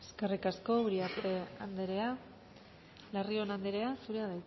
eskerrik asko uriarte andrea larrion andrea zurea